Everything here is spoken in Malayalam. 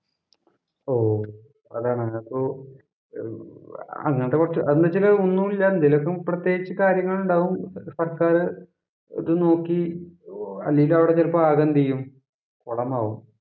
ഓ, അതാണ് അതിനകത്ത് അങ്ങനെത്തെ കൊറച്ചു എന്ന് വച്ചാല് ഒന്നുമില്ല എന്തേലും പ്രത്യേകിച്ച് കാര്യങ്ങളുണ്ടാവും. സര്‍ക്കാര് ഇത് നോക്കി അല്ലേലും അവിടെ ചെലപ്പോ ആകെ എന്തു ചെയ്യും കൊളമാവും.